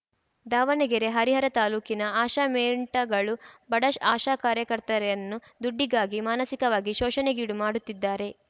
ದಾವಣಗೆರೆ ಹರಿಹರ ತಾಲೂಕಿನ ಆಶಾ ಮೆಂಟಗಳು ಬಡ ಆಶಾ ಕಾರ್ಯಕರ್ತೆಯರನ್ನು ದುಡ್ಡಿಗಾಗಿ ಮಾನಸಿಕವಾಗಿ ಶೋಷಣೆಗೀಡು ಮಾಡುತ್ತಿದ್ದಾರೆ